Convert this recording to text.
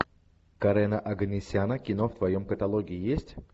карена оганесяна кино в твоем каталоге есть